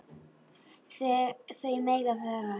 Þau mega vara sig.